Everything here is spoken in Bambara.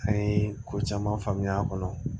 An ye ko caman faamuya a kɔnɔ